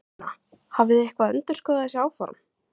Sunna: Hafið þið eitthvað endurskoðað þessi áform?